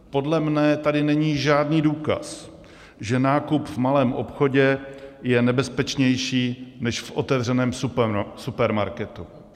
Podle mě tady není žádný důkaz, že nákup v malém obchodě je nebezpečnější než v otevřeném supermarketu.